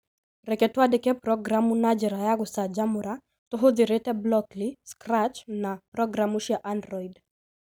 Reke twandĩke programu na njĩra ya gũcanjamũra tũhũthĩrĩte Blockly, Scratch na programu cia Android